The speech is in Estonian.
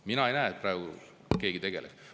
Mina ei näe, et keegi tegeleb.